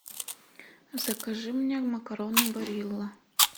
закажи мне макароны барилла